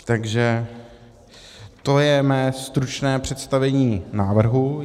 Takže to je mé stručné představení návrhu.